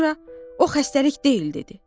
Sonra o xəstəlik deyil dedi.